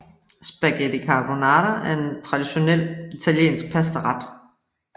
Spaghetti carbonara er en traditionel italiensk pastaret